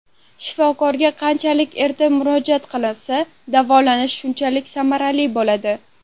Shifokorga qanchalik erta murojaat qilinsa, davolanish shunchalik samarali bo‘ladi.